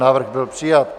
Návrh byl přijat.